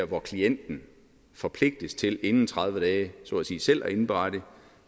hvor klienten forpligtes til inden tredive dage selv at indberette og